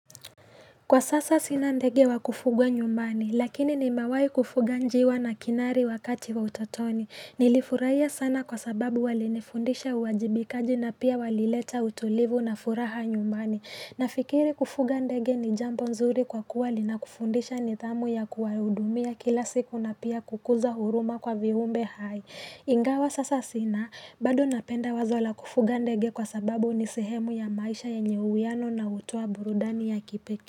Kwa sasa sina ndege wa kufuga nyumbani lakini nimewahi kufuga njiwa na kinari wakati wa utotoni. Nilifurahia sana kwa sababu walinifundisha uwajibikaji na pia walileta utulivu na furaha nyumbani Nafikiri kufuga ndege ni jambo nzuri kwa kuwa linakufundisha nidhamu ya kuwahudumia kila siku na pia kukuza huruma kwa viumbe hai Ingawa sasa sina, bado napenda wazo la kufuga ndege kwa sababu ni sehemu ya maisha yenye uwiano na hutoa burudani ya kipekee.